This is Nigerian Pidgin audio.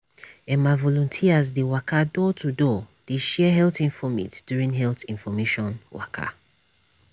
em ah volunteers dey waka door to door dey share health infomate during health information waka